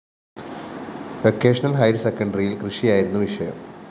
vocational ഹയര്‍സെക്കണ്ടറിയില്‍ കൃഷിയായിരുന്നു വിഷയം